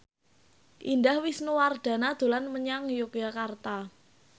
Indah Wisnuwardana dolan menyang Yogyakarta